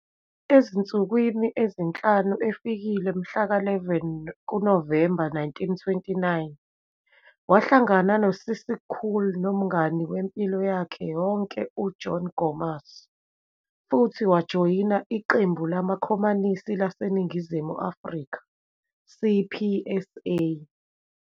Ezinsukwini ezinhlanu efikile mhla ka 11 kuNovemba 1929, wahlangana noCissie Gool nomngane wempilo yakhe yonke uJohn Gomas futhi wajoyina iQembu LamaKhomanisi laseNingizimu Afrika, CPSA.